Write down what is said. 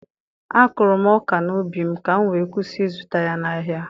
A kụrụ m ọka n'ubi m, ka m wee kwụsị ịzụta ya n'ahịa.